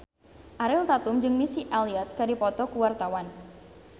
Ariel Tatum jeung Missy Elliott keur dipoto ku wartawan